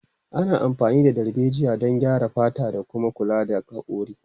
Ana amfani da darbejiya don graya fata da kuma kula da hakori.